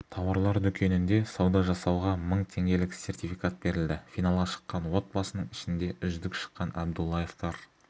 тауарлар дүкенінде сауда жасауға мың теңгелік сертификат берілді финалға шыққан отбасының ішінде үздік шыққан әбдуллаевтар